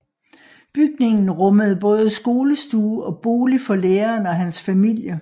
Bygningen rummede både skolestue og bolig for læreren og hans familie